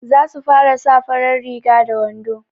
za su sa farar riga da wando